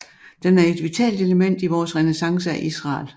Den er et vitalt element i vores renæsance af Israel